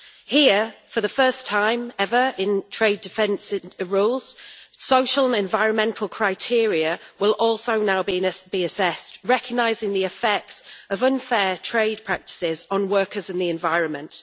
Here, for the first time ever in trade defence rules, social and environmental criteria will also now be assessed, recognising the effect of unfair trade practices on workers and the environment.